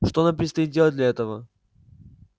что нам предстоит делать для этого